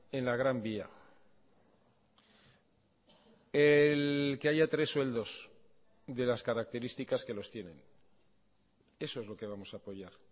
en la gran vía que haya tres sueldos de las características que los tienen eso es lo que vamos a apoyar